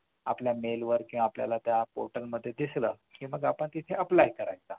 आपल्या mail किंवा आपल्या portal मध्ये दिसलं कि मग आपण तिथे apply करायचं